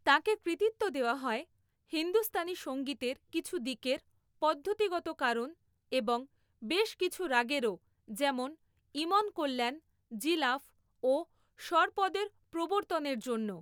তাঁকে কৃতিত্ব দেওয়া হয় হিন্দুস্তানি সঙ্গীতের কিছু দিকের পদ্ধতিগতকরণ এবং বেশ কিছু রাগেরও যেমন ইমন কল্যাণ, জিলাফ ও সর্পদের প্রবর্তনের জন্য।